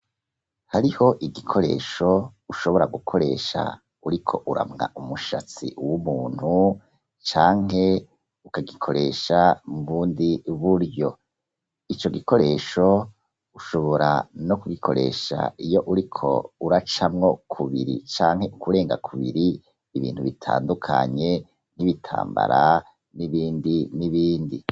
Hariho igikoresho ushobora gukoresha uriko uramwa umushatsi w'umuntu canke ukagikoresha mubundi buryo ico gikoresho ushobora nokugikoresha Ico gikoresho ushobora kugikosha Iyo uriko uracamwo kubiri canke ibirenga kubiri nkibitamba n'ibindi n'ibindi